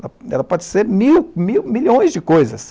Ela ela pode ser mil mil, milhões de coisas.